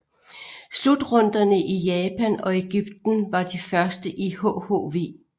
Slutrunderne i Japan og Egypten var de første i hhv